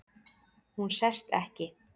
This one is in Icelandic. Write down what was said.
Hún sest ekki.